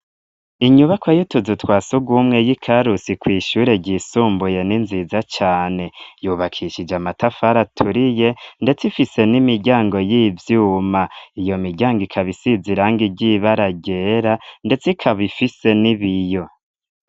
Inyubakwa y'utuzu twasugumwe yi Karusi kw'ishure ryisumbuye ni nziza cane. Yubakishije amatafara aturiye, ndetse ifise n'imiryango y'ivyuma. Iyo miryango ikaba isize irangi ry'ibara ryera, ndetse ikaba ifise n'ibiyo.